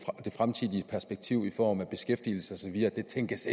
fremtidige perspektiv i form af beskæftigelse og så videre tænkes